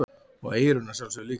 Og eyrun að sjálfsögðu líka.